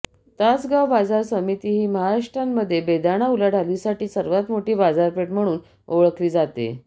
तासगाव बाजार समिती ही महाराष्ट्रामध्ये बेदाणा उलाढालासाठी सर्वात मोठी बाजारपेठ म्हणून ओळखली जाते